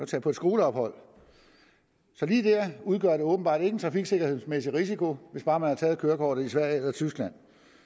tage på et skoleophold så lige der udgør det åbenbart ikke en trafiksikkerhedsmæssig risiko hvis bare man har taget kørekortet i sverige eller tyskland